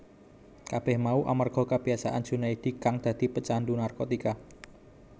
Kabeh mau amarga kabiyasaane Junaedi kang dadi pecandhu narkotika